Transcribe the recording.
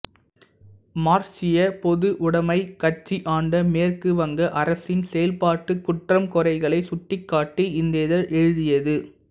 மார்க்சியப் பொதுவுடைமைக் கட்சி ஆண்ட மேற்கு வங்க அரசின் செயல்பாட்டுக் குற்றம் குறைகளை சுட்டிக் காட்டி இந்த இதழ் எழுதியது